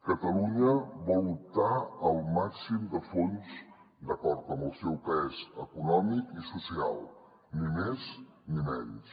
catalunya vol optar al màxim de fons d’acord amb el seu pes econòmic i social ni més ni menys